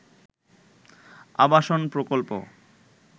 আবাসন প্রকল্প